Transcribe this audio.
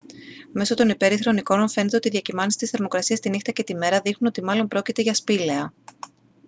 μέσω των υπέρυθρων εικόνων φαίνεται ότι οι διακυμάνσεις της θερμοκρασίας τη νύχτα και τη μέρα δείχνουν ότι μάλλον πρόκειται για σπήλαια